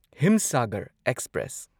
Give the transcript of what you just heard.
Himsagar express